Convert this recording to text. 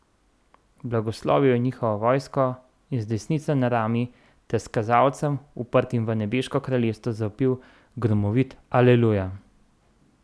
Blagoslovil je njihovo vojsko in z desnico na rami ter s kazalcem, uprtim v nebeško kraljestvo, zavpil gromovit Aleluja!